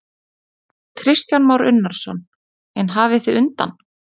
Kristján Már Unnarsson: En hafið þið undan?